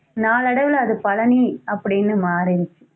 நாளடைவில அது பழனி அப்படின்னு மாறிடுச்சு